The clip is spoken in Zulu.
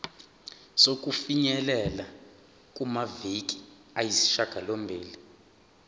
sokufinyelela kumaviki ayisishagalombili